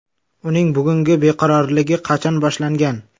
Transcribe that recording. Uning bugungi beqarorligi qachon boshlangan?